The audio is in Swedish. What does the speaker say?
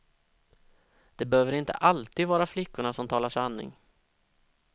Det behöver inte alltid vara flickorna som talar sanning.